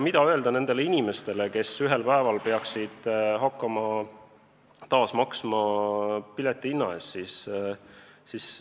Mida öelda nendele inimestele, kes ühel päeval peaksid hakkama taas pileti eest maksma?